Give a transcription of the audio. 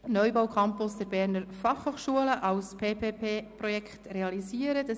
«Neubau Campus der Berner Fachhochschulen als PPP-Projekt realisieren.».